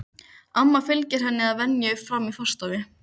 Amma fylgir henni að venju fram í forstofu.